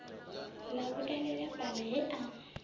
ḽa vhuelela fhaḽa he a